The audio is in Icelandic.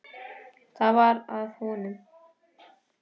Það var að vonum.